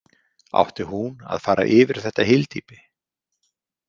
Átti hún að fara yfir þetta hyldýpi?